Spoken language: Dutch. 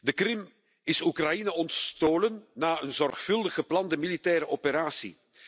De Krim is Oekraïne ontstolen na een zorgvuldig geplande militaire operatie.